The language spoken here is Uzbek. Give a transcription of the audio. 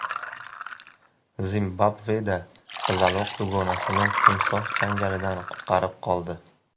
Zimbabveda qizaloq dugonasini timsoh changalidan qutqarib qoldi.